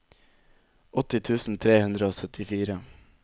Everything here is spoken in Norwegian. åtti tusen tre hundre og syttifire